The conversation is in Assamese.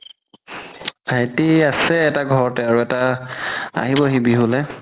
ভাইতি আছে এটা ঘৰতে আৰু এটা আহিব হি বিহুলে